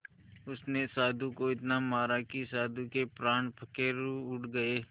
उसने साधु को इतना मारा कि साधु के प्राण पखेरु उड़ गए